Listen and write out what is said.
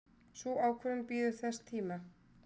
Sú ákvörðun bíður þess tíma.